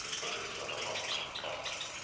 который своровал колпак